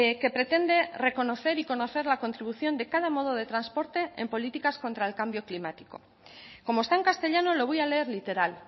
que pretende reconocer y conocer la contribución de cada modo de transporte en políticas contra el cambio climático como está en castellano lo voy a leer literal